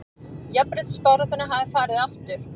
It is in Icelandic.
Jafnréttisbaráttunni hafi farið aftur